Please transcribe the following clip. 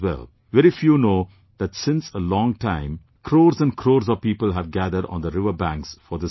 Very few know that since a long time, crores and crores of people have gathered on the riverbanks for this festival